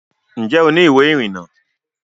ǹjẹ́ o ní ìwé ìrìnnà?